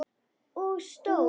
Og stól.